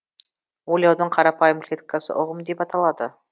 ойлаудың қарапайым клеткасы ұғым деп аталады